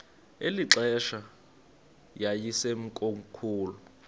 eli xesha yayisekomkhulu